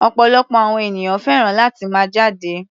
Ọ̀pọ̀lọpọ̀ àwọn ènìyàn fẹ́ràn láti máa jáde.